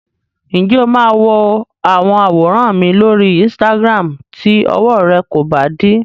Ǹjẹ́ o máa wo àwọn àwòrán mi lóri Instagram tí ọwọ rẹ kò bá dí?